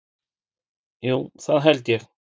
Jú, það held ég